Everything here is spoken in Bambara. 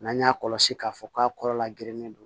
N'an y'a kɔlɔsi k'a fɔ k'a kɔrɔla geren don